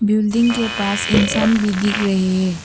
Building के पास इंसान भी दिख रहे हैं।